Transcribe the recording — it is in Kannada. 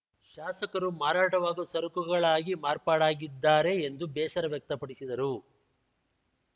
ಶಾಸಕರು ಮಾರಾಟವಾಗುವ ಸರಕುಗಳಾಗಿ ಮಾರ್ಪಾಡಾಗಿದ್ದಾರೆ ಎಂದು ಬೇಸರ ವ್ಯಕ್ತಪಡಿಸಿದರು